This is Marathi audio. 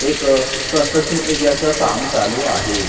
एक कन्स्ट्रकशन एरिया च काम चालू आहे.